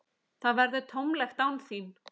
Það verður tómlegt án þín.